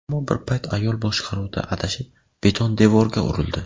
Ammo bir payt ayol boshqaruvda adashib, beton devorga urildi.